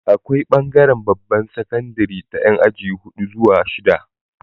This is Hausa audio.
Akwai bangaran babbar sakandari ta Yan aji hudu zuwa shida